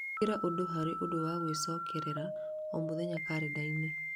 Ĩkĩra ũndũ harĩ ũndũ wa gwĩcokerera o mũthenya karenda-inĩ